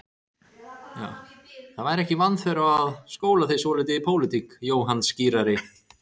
Það væri ekki vanþörf á að skóla þig svolítið í pólitík, Jóhann skírari.